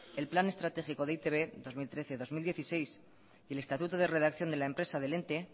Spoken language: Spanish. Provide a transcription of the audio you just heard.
el plan estratégico de e i te be dos mil trece dos mil dieciséis y el estatuto de redacción de la empresa del ente